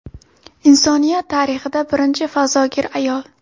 Insoniyat tarixida birinchi fazogir ayol.